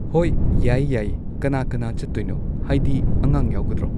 ꯍꯣꯏ ꯌꯥꯏꯌꯦ ꯌꯥꯏꯌꯦ ꯀꯅꯥ ꯀꯅꯥ ꯆꯠꯇꯣꯏꯅꯣ ꯍꯥꯏꯗꯤ ꯑꯉꯥꯡ ꯌꯥꯎꯒꯗ꯭ꯔꯣ